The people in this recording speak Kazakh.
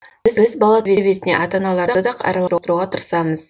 біз бала тәрбиесіне ата аналарды да араластыруға тырысамыз